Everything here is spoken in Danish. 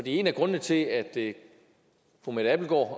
en af grundene til at fru mette abildgaard